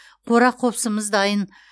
қора қопсымыз дайын